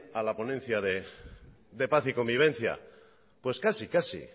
a la ponencia de paz y convivencia pues casi casi